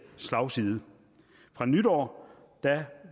slagside fra nytår